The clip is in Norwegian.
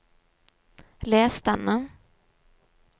les denne